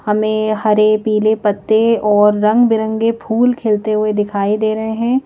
हमें हरे पीले पत्ते और रंग बिरंगे फूल खिलते हुए दिखाई दे रहे हैं।